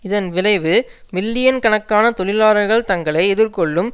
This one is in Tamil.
இதன் விளைவு மில்லியன் கணக்கான தொழிலாளர்கள் தங்களை எதிர்கொள்ளும்